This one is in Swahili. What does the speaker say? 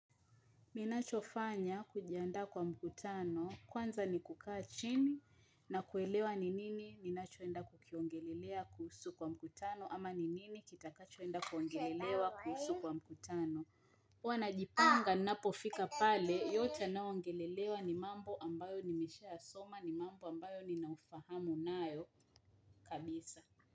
Ninachofanya kujiandaa kwa mkutano kwanza ni kukaa chini na kuelewa ni nini ninacho enda kukiongelelea kuhusu kwa mkutano ama ni nini kitakacho enda kuongelelewa kuhusu kwa mkutano huwa najipanga ninapo fika pale yote yanayo ongelelewa ni mambo ambayo nimeshaa soma ni mambo ambayo nina ufahamu nayo kabisa.